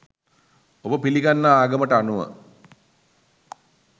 ඔබ පිලිගන්නා ආගමට අනුව